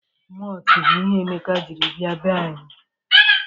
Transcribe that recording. Mọọltụ bụ ihe Emeka jiri bia be anyi.